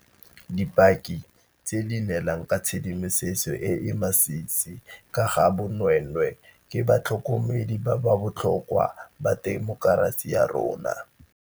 Dipaki tse di neelang ka tshedimosetso e e masisi ka ga bonweenwee ke ba tlhokomedi ba botlhokwa ba temokerasi ya rona.